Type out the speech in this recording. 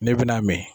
Ne bɛ n'a mɛn